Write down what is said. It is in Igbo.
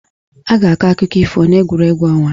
A ga-akọ akụkọ ifo n'egwuregwu ọnwa.